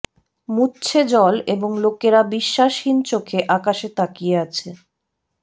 মুছছে জল এবং লোকেরা বিশ্বাসহীন চোখে আকাশে তাকিয়ে আছে